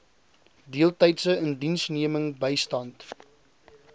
deeltydse indiensneming bystand